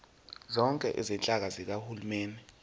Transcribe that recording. zonke izinhlaka zikahulumeni